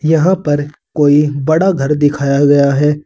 यहां पर कोई बड़ा घर दिखाया गया है।